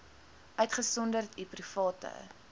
uitgesonderd u private